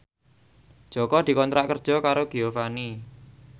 Jaka dikontrak kerja karo Giovanni